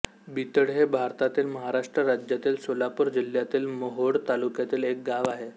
बितळे हे भारतातील महाराष्ट्र राज्यातील सोलापूर जिल्ह्यातील मोहोळ तालुक्यातील एक गाव आहे